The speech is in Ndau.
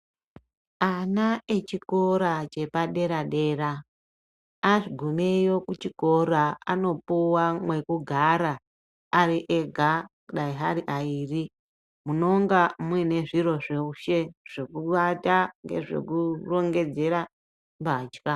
Ana echikora chepadera dera anopuwa mwekugara ariega dai varivaviri, munonga muine zviro zveshe zvokuvata ,zvekurongedzera mbatya.